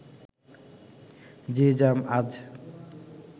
যে জ্যাম আজ